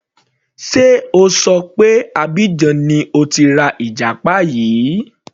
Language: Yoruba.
Sé O ṣọ pé Abidjan ni o ti ra ìjàpá yìí.